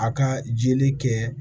A ka jeli kɛ